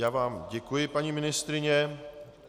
Já vám děkuji, paní ministryně.